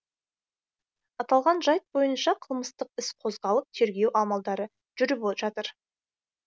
аталған жайт бойынша қылмыстық іс қозғалып тергеу амалдары жүріп жатыр